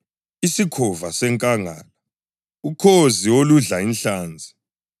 isikhova esimhlophe, isikhova senkangala, ukhozi oludla inhlanzi,